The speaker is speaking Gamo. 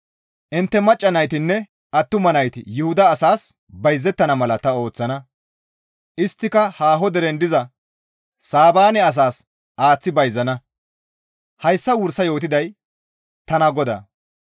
Intte macca naytinne attuma nayti Yuhuda asaas bayzettana mala ta ooththana; isttika haaho deren diza Saabaane asaas aaththi bayzana; hayssa wursa yootiday tana GODAA.